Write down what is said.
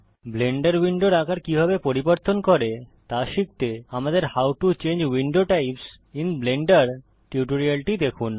Blender উইন্ডোর আকার কিভাবে পরিবর্তন করে তা শিখতে আমাদের how to change window types I N Blender টিউটোরিয়ালটি দেখুন